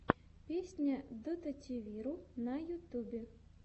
песня дотативиру на ютубе